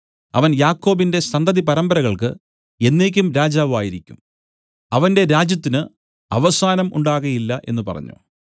അവൻ യാക്കോബിന്റെ സന്തതി പരമ്പരകൾക്ക് എന്നേക്കും രാജാവായിരിക്കും അവന്റെ രാജ്യത്തിന് അവസാനം ഉണ്ടാകയില്ല എന്നു പറഞ്ഞു